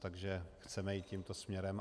Takže chceme jít tímto směrem.